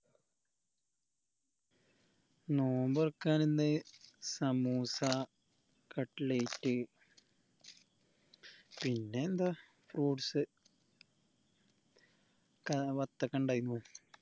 നോമ്പ്തൊറക്കാൻ ഇന്ന് സമൂസ കട്ട്ലേറ്റ് പിന്നെന്താ fruits ക്ക വത്തക്കിണ്ടെന്